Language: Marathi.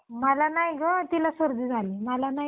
मला नाही ग तिला सर्दी झाली मला नाही काय